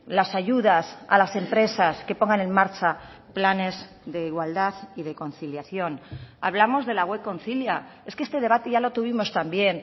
las ayudas a las empresas que pongan en marcha planes de igualdad y de conciliación hablamos de la web concilia es que este debate ya lo tuvimos también